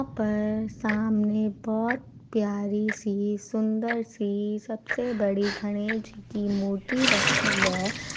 यहां पर सामने बहुत प्यारी-सी सुंदर-सी सबसे बड़ी घनेश जी की मूर्ति रखी है ।